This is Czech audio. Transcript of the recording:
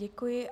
Děkuji.